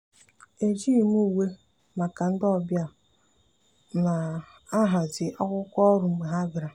ejighị m uwe maka ndị ọbịa m na-ahazi akwụkwọ ọrụ mgbe ha bịara.